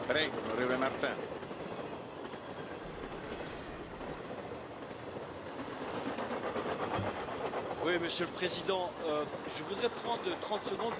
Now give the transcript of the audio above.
Monsieur le Président, je voudrais prendre 30 secondes pour évoquer avec vous une valeur qui ne doit pas vous être étrangère, je veux parler ici du devoir d'ingérence.